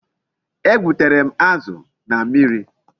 E gbutere m azu na mmiri